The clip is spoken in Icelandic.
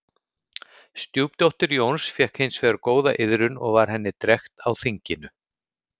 Stjúpdóttir Jóns fékk hins vegar góða iðrun og var henni drekkt á þinginu.